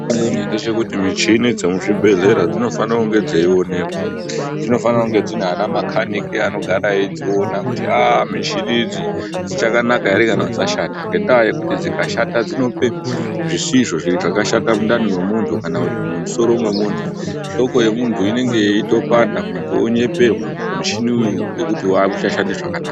Michhini dzemuzvibhedhlera dzinofane kunge dzeionekwa, dzinofane kunga dzina ana makhanika anogara eidziona kuti, aah, michhini idzi dzichakanaka ere kana dzashata? Ngendaa yekuti dzikashata, dzinopa zvisizvo zviro zvakashata mundani mwemunthu, kana kuti musoro mwemunthu, hloko yemutnhu inenge yeitopanda, munthu onyeperwa kuti muchhini uyu ngekuti auchashandi zvakanaka.